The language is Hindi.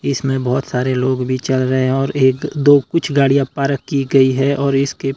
इसमें बहुत सारे लोग भी चल रहे हैं और एक दो कुछ गाड़ियां पार्क की गई है और इसके--